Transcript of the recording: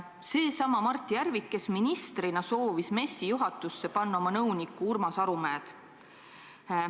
Seesama Mart Järvik, kes ministrina soovis MES-i juhatusse panna oma nõunikku Urmas Arumäed.